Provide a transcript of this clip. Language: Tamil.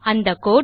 அந்த கோடு